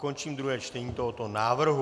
Končím druhé čtení tohoto návrhu.